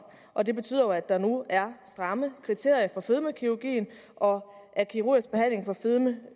og det betyder jo at der nu er stramme kriterier for fedmekirurgi og at kirurgisk behandling for fedme